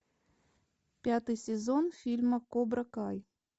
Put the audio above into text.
пятый сезон фильма кобра кай